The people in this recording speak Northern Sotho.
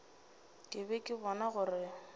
ke be ke bona gore